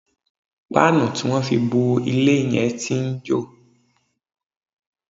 Páànù tí wọ́n fi bo ilé yẹn tí ń jò